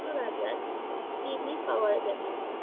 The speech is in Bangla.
রাজার পাওয়া গেছে।